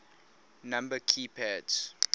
number key pads